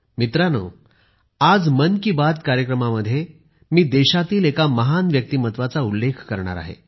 मित्रहो आज मन की बात कार्यक्रमामध्ये मी देशातील एका महान व्यक्तिमत्त्वाचा उल्लेख करणार आहे